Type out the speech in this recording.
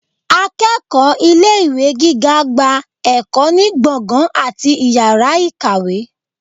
akeéko ilé ìwé gígá gbá ekò ni gbọngan atí ìyára ikáwe.